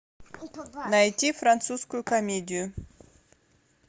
найти французскую комедию